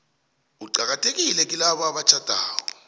uqakathekile kilabo abatjhadako